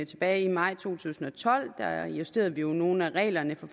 tilbage i maj to tusind og tolv da justerede vi jo nogle af reglerne for